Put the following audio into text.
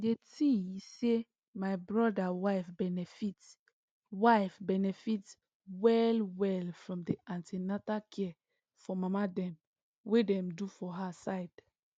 the thing he say my brother wife benefit wife benefit well well from the an ten atal care for mama dem wey dem do for her side